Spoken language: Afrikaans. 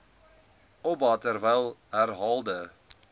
oba terwyl herhaalde